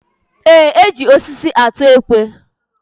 Eé, e ji osisi atụ ekwe.